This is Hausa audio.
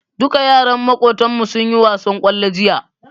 Duka yaran Makotan mu sunyi wasan kwallo jiya